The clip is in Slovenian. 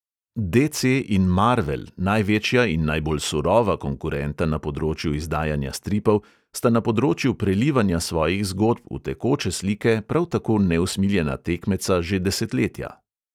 DC in marvel, največja in najbolj surova konkurenta na področju izdajanja stripov, sta na področju prelivanja svojih zgodb v tekoče slike prav tako neusmiljena tekmeca že desetletja.